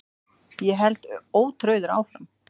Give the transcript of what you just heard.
Ég held ótrauður áfram.